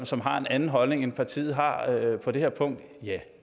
som har en anden holdning end partiet har på det her punkt ja